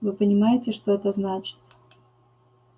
вы понимаете что это значит